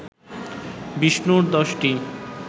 বিষ্ণুর দশটি